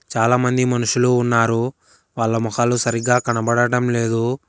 చాలామంది మనుషులు ఉన్నారు వాళ్ళ మొఖలు సరిగా కనబడడం లేదు.